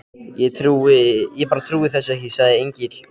Ég bara trúi þessu ekki, sagði Engillinn, og